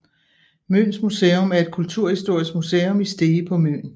Møns Museum er et kulturhistorisk museum i Stege på Møn